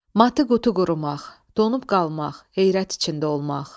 Matı qutu qurumaq – donub qalmaq, heyrət içində olmaq.